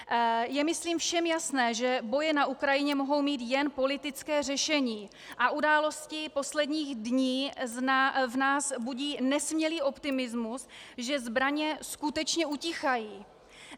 Je myslím všem jasné, že boje na Ukrajině mohou mít jen politické řešení, a události posledních dní v nás budí nesmělý optimismus, že zbraně skutečně utichají.